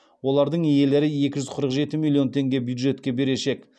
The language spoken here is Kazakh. олардың иелері екі жүз қырық жеті миллион теңге бюджетке берешек